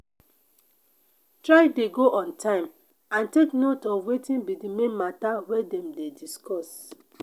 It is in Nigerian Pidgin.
try de go on time and take note of wetin be di main matter wey dem de discuss